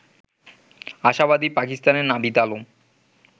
আশাবাদী পাকিস্তানের নাভিদ আলম